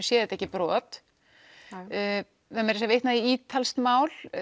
sé þetta ekki brot vitnað í ítalskt mál